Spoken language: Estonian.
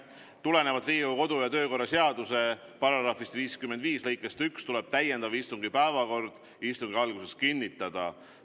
Tulenevalt Riigikogu kodu- ja töökorra seaduse § 55 lõikest 1 tuleb täiendava istungi päevakord istungi alguses kinnitada.